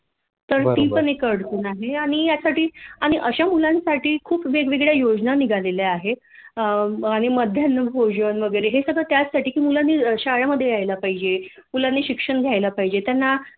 तर ती पण एक अडचण आहे आणि यासाठी आणि अशा मुलांसाठी खूप वेगवेगळ्या योजना निघालेल्या आहेत मध्यान्ह भोजन वैगरे हे सगळ त्याचसाठी की मुलांनी शाळेमध्ये यायला पाहिजे मुलानी शिक्षण घ्यायला पाहिजे त्यांना